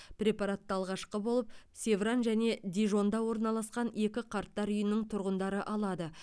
препаратты алғашқы болып севран және дижонда орналасқан екі қарттар үйінің тұрғындары алады